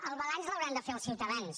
el balanç l’hauran de fer els ciutadans